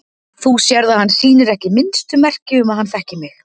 Þú sérð að hann sýnir ekki minnstu merki um að hann þekki mig.